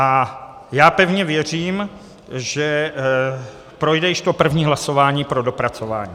A já pevně věřím, že projde již to první hlasování pro dopracování.